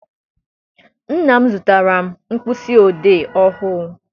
Nna m zụtara m mkpịsị odee ọhụụ.